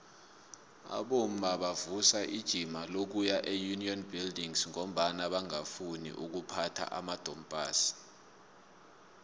abomma bavusa ijima lokuya eunion buildings ngombana bangafuni ukuphatha amadompass